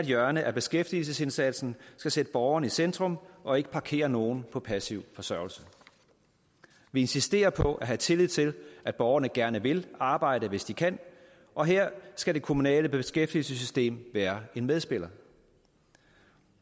hjørne af beskæftigelsesindsatsen skal sætte borgeren i centrum og ikke parkere nogen på passiv forsørgelse vi insisterer på at have tillid til at borgerne gerne vil arbejde hvis de kan og her skal det kommunale beskæftigelsessystem være en medspiller